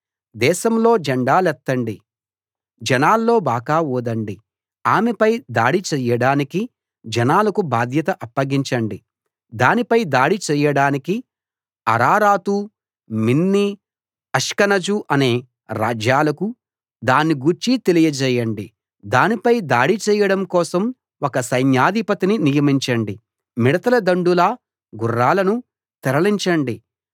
దేశంలో జెండాలెత్తండి జనాల్లో బాకా ఊదండి ఆమెపై దాడి చేయడానికి జనాలకు బాధ్యత అప్పగించండి దాని పై దాడి చేయడానికి అరారాతు మిన్నీ అష్కనజు అనే రాజ్యాలకు దాన్ని గూర్చి తెలియజేయండి దానిపై దాడి చేయడం కోసం ఒక సైన్యాధిపతిని నియమించండి మిడతల దండులా గుర్రాలను తరలించండి